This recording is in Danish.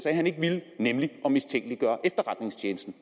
at han ikke ville nemlig at mistænkeliggøre efterretningstjenesten